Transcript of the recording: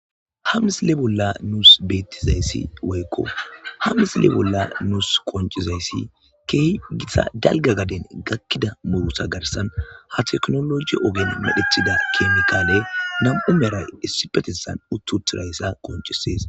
ha misile bolla nuus bettizayssi woykko ha misile bolla nuus qoncizayssi keehi githa dalga gaden gakkida murusa garsan ha teknologi ogen medhethida kemikaale nam7u meray issipetisan uttutirayssa qoncisees